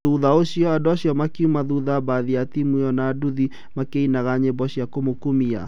Thutha ũcio, andũ acio makiuma thutha mbathi ya timu ĩyo na nduthi makĩinaga nyĩmbo cia kũmũkumia